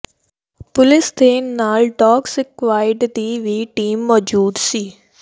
ਪੁਲਸ ਦੇ ਨਾਲ dog squad ਦੀ ਵੀ ਟੀਮ ਮੌਜੂਦ ਸੀ